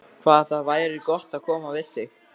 Hvað það væri gott að koma við þig.